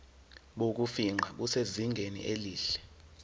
bokufingqa busezingeni elihle